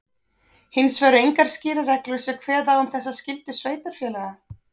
Hins vegar eru engar skýrar reglur sem kveða á um þessa skyldu sveitarfélaga.